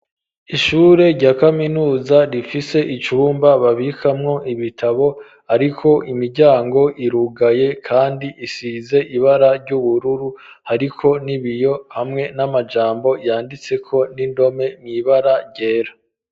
Ishure rya kaminuza rifise icumba babikamwo ibitabo, ariko imiryango irugaye kandi isize ibara ry'ubururu ,ariko nibiyo hamwe n'amajambo yanditse ko n'indome mwibara ryera.